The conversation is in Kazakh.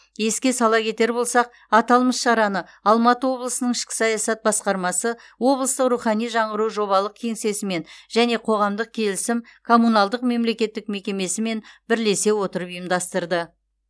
еске сала кетер болсақ аталмыш шараны алматы облысының ішкі саясат басқармасы облыстық рухани жаңғыру жобалық кеңсесімен және қоғамдық келісім коммуналдық мемлекеттік мекемесімен бірлесе отырып ұйымдастырды